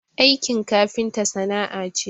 Aikin kafinta sana'a ce